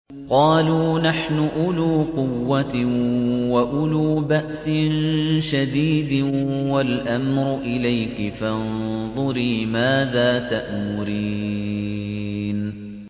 قَالُوا نَحْنُ أُولُو قُوَّةٍ وَأُولُو بَأْسٍ شَدِيدٍ وَالْأَمْرُ إِلَيْكِ فَانظُرِي مَاذَا تَأْمُرِينَ